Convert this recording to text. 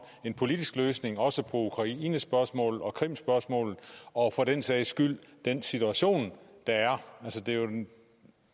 en politisk løsning også på ukraine spørgsmålet og krim spørgsmålet og for den sags skyld den situation der er det er jo